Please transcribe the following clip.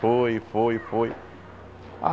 Foi, foi, foi.